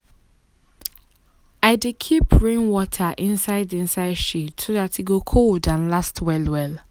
i dey keep rainwater inside inside shade so dat e go cold and last well well.